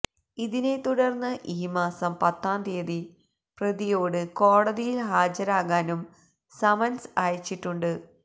ഇതിനെ തുടര്ന്ന് ഈ മാസം പത്താം തീയതി പ്രതിയോട് കോടതിയില് ഹാജരാകാനും സമന്സ് അയച്ചിട്ടുണ്ട്